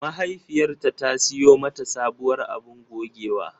Mahaifiyarta ta siyo mata sabuwar abun gogewa.